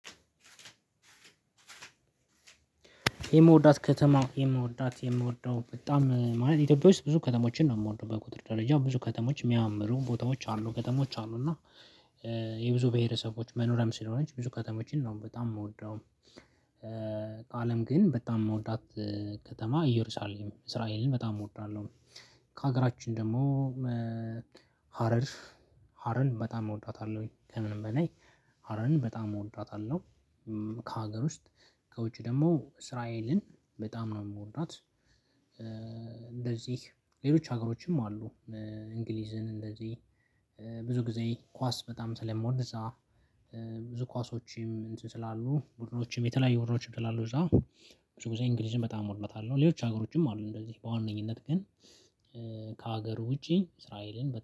የምወዳት ከተማ የምወዳት የምወደው በጣም ማለት ኢትዮጵያ ውስጥ ብዙ ከተሞችን ነው የምወደው በቁጥር ደረጃ ብዙ ከተሞች የሚያምሩ ቦታዎች አሉ ከተሞች አሉ እና የብዙ ብሄረሰቦች መኖሪያም ስለሆነች ብዙ ከተማዎችን ነው በጣም የምወደው። ካለም ግን በጣም የምወዳት ከተማ እየሩሳሌም እስራኤልን በጣም እወዳለሁ። ከሀገራችን ደግሞ። ሀረርፍ ሀረርን በጣም እወዳታለሁኝ ከምንም በላይ ሀረርን በጣም እወዳታለሁኝ። ከሀገር ውስጥ ከውጭ ደግሞ እስራኤልን በጣም ነው የምወዳት። እንደዚህ ሌሎች ሀገሮችም አሉ። እንግሊዝን እንደዚህ ብዙ ጊዜ ኳስ በጣም ስለምወድ እዛ ብዙ ኳሶችም እንትን ስላሉ ቡድኖችም የተለያዩ ቡድኖችም ስላሉ እዛ። ብዙ ጊዜ እንግሊዝም በጣም ወዳታለው ሌሎች ሀገሮችም አሉ እንደዚህ በዋነኝነት ግን ከሀገሩ ውጪ እስራኤልን